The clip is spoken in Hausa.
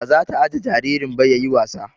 Ba zata ajjiye jaririn ba yayi wasa